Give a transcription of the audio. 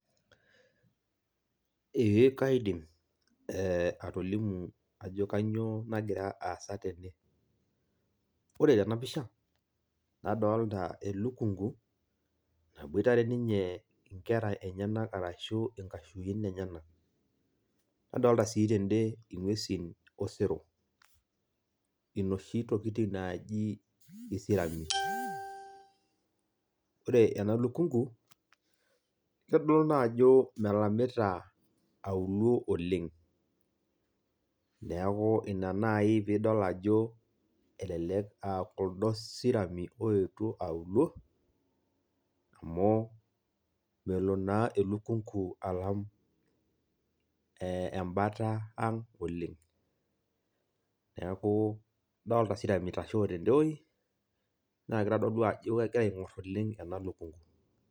Ee kaidim, eh atolimu ajo kanyioo nagira aasa tene. Ore tenapisha, nadolta elukunku, naboitare ninye inkera enyanak arashu inkashuin enyanak. Nadolta si tede ing'uesin osero. Inoshi tokiting naji isirami. Ore ena lukunku, nidolta ajo melamita auluo oleng'. Neeku ina nai pidol ajo elelek ah kuldo sirami oetuo auluo, amu melo naa elukunku alam embata ang' oleng'. Neeku adolta sirami itashoo tede woi, na kitodolu ajo kegira aing'or oleng' ena lukunku.